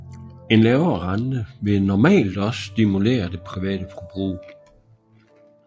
En lavere rente vil normalt også stimulere det private forbrug